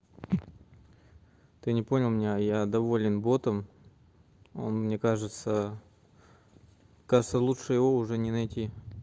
ты не понял меня я доволен ботом он мне кажется кажется лучше его уже не найти